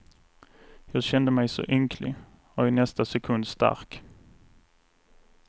Jag kände mig så ynklig, och i nästa sekund stark.